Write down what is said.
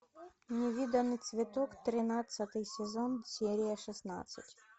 невиданный цветок тринадцатый сезон серия шестнадцать